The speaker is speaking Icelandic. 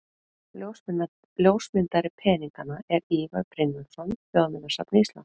Ljósmyndari peninganna er Ívar Brynjólfsson, Þjóðminjasafni Íslands.